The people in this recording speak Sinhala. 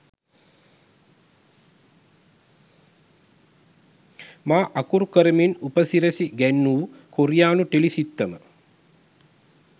මා අකුරු කරමින් උපසිරැසි ගැන්වූ කොරියානු ටෙලි සිත්තම